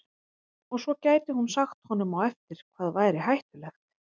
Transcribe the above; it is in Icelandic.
Og svo gæti hún sagt honum á eftir hvað væri hættulegt.